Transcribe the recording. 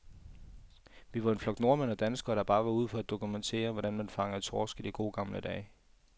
Vi var en flok nordmænd og danskere, der bare var ude for at dokumentere, hvordan man fangede torsk i de gode, gamle dage.